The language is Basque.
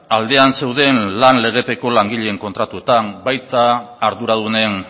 aldean zeuden lan legepeko langileen kontratuetan baita arduradunen